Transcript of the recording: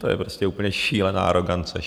To je prostě úplně šílená arogance.